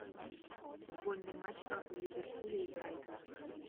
футбольный матч апл ливерпуля и брайтона